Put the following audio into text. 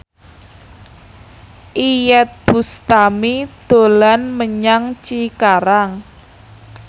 Iyeth Bustami dolan menyang Cikarang